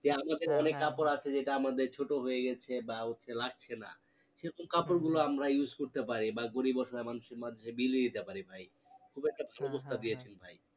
যে আমাদের অনেক কাপড় আছে যেটা আমাদের ছোটো হয়ে গেছে, বা লাগছে না সেরকম কাপড় গুলো আমরা use করতে পারি বা গরিব অসহায় মানুষের মাঝে বিলিয়ে দিতে পারি ভাই খুব একটা দিয়েছেন ভাই